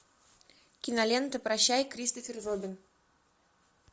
кинолента прощай кристофер робин